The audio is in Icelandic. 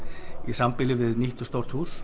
í sambýli við nýtt og stórt hús